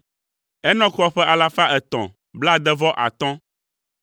Enɔk xɔ ƒe alafa etɔ̃ blaade-vɔ-atɔ̃ (365),